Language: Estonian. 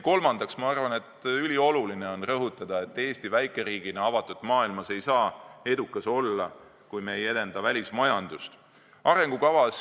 Ma arvan, et ülioluline on ka rõhutada, et Eesti väikeriigina ei saa avatud maailmas edukas olla, kui me ei edenda välismajandust.